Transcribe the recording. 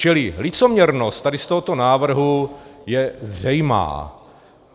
Čili licoměrnost tady z tohoto návrhu je zřejmá.